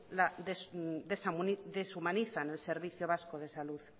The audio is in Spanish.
deshumanizan el servicio vasco de salud